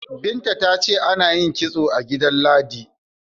Binta ce ana yin kitso a gida Ladi.